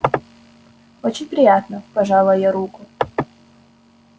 очень приятно пожала я руку